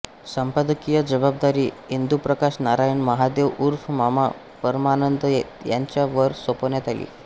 संपादकीय जबाबदारी इंदुप्रकाश नारायण महादेव उर्फ मामा परमानंद यांच्या वर सोपवण्यात आली